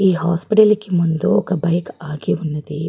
ఈ హాస్పిటల్ కి ముందు ఒక బైక్ ఆగి ఉన్నది.